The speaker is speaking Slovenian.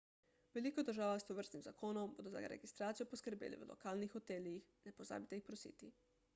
v veliko državah s tovrstnim zakonom bodo za registracijo poskrbeli v lokalnih hotelih ne pozabite jih prositi